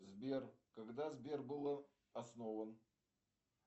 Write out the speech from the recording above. сбер когда сбер был основан